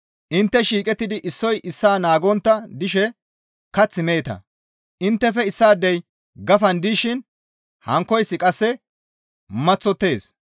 Intte shiiqettidi issoy issaa naagontta dishe kath meeta; inttefe issaadey gafan dishin hankkoyssi qasse maththottees.